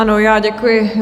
Ano, já děkuji.